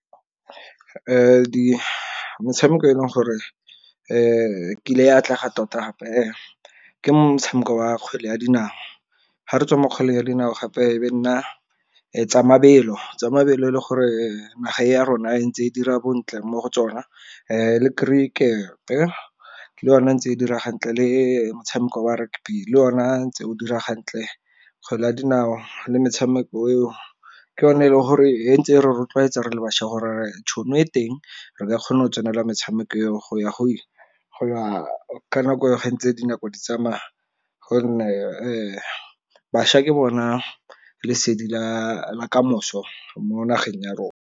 Metshameko e leng gore e kile e atlege tota gape ke motshameko wa kgwele ya dinao. Ga re tswa mo kgwele ya dinao gape e be e nna tsa mabelo, tsa mabelo e le gore naga e ya rona e ntse e dira bontle mo go tsona. Le kerikere le yona e ntse e dira hantle le motshameko wa rugby le yona tse o dira hantle. Kgwele ya dinao le metshameko eo, ke yone e le gore ntse re rotloetsa re le bašwa gore tšhono e teng re ka kgona go tsenela metshameko eo go ya go ile. Go ya ka nako eo ga ntse dinako di tsamaya gonne bašwa ke bona lesedi la kamoso mo nageng ya rona.